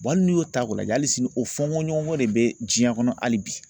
hali n'i y'o ta ko lajɛ hali sini o fɔ ko ɲɔgɔn ko de bɛ diɲɛ kɔnɔ hali bi.